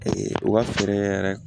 u ka fɛɛrɛ yɛrɛ